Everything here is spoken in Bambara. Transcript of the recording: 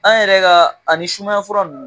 An yɛrɛ ka ani sumaya fura ninnu